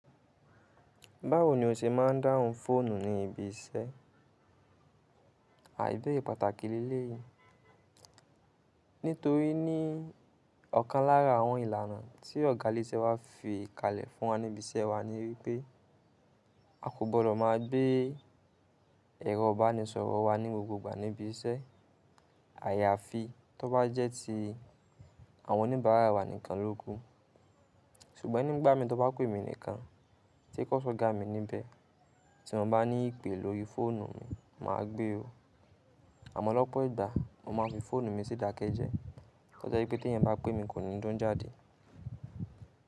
Báwo ni o ṣe máa ń dáhùn fóònù ní ibi iṣẹ́? À ìbéèrè pàtàkì lélé yìí, nítorí ní ọ̀kan lára àwọn ìlànà tí ọ̀gá ilé iṣẹ́ wa fi kalẹ̀ fún wa ní ibi iṣẹ́ wa ni wípé a kò gbọdọ̀ má gbé ẹ̀rọ ìbánisọ̀rọ̀ wa ní gbogbo ìgbà ní ibi iṣẹ́. Àyàfi tí ó bá jẹ́ ti àwọn oníbàárà wa nìkan lóku. Ṣùgbọ́n nígbà mí tó bá kú èmi nìkan tí kò sọ́gà mi níbẹ̀. Tí mo bá ní ìpè lórí fóònù mi, màa gbé o. Àmọ́ lọ́pọ̀ ìgbà mo máa fi fóònù mi sí ìdákẹ́jẹ́. Tó jẹ́ pé tí ẹ̀yán bá pè mi, kò ní dún jáde.